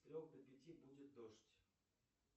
с трех до пяти будет дождь